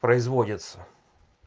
производится